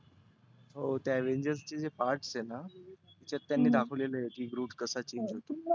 हो ते avangers चे जे part आहेना. त्यात त्यांनी दाखवलेलं आहे. groot कसा change होतो.